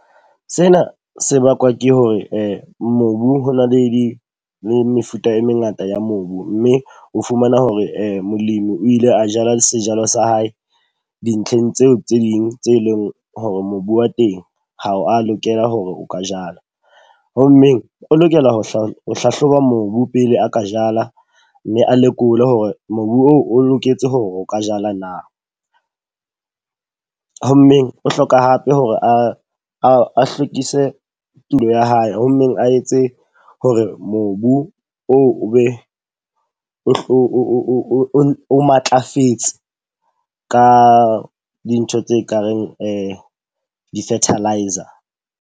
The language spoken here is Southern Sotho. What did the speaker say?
Sena se bakwa ke hore mobu ho na le mefuta e mengata ya mobu. Mme o fumana hore molemi o ile a jala sejalo sa hae dintlheng tseo tse ding tse leng hore mobu wa teng ha o a lokela hore o ka jala. Ho mmeng o lokela ho hlahloba mobu pele a ka jala. Mme a lekole hore mobu oo o loketse hore o ka jala na. Ho mmeng o hloka hape hore a a hlwekise tulo ya hae. Ho mmeng a etse hore mobu o be o matlafetse ka dintho tse kareng di-fertiliser.